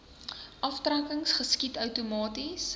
aftrekkings geskied outomaties